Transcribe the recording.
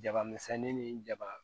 Jaba misɛnnin ni jaba